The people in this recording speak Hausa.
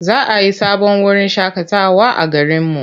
Za a yi sabon wurin shaƙatawa a garinmu.